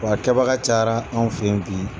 W'a kɛbaga cayara an fɛ ye bi.